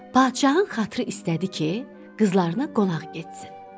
Padşahın xatırı istədi ki, qızlarına qonaq getsin.